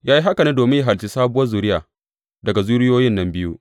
Ya yi haka domin yă halicci sabuwar zuriya daga zuriyoyin nan biyu.